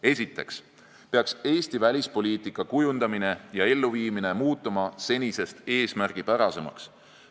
Esiteks peaks Eesti välispoliitika kujundamine ja elluviimine muutuma senisest eesmärgipärasemaks.